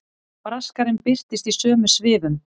Braskarinn birtist í sömu svifum.